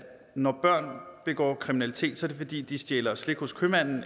når børn begår kriminalitet er det fordi de stjæler slik hos købmanden